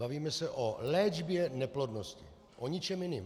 Bavíme se o léčbě neplodnosti, o ničem jiném.